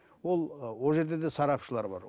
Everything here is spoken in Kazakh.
ол ол жерде де сарапшылар бар